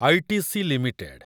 ITC limited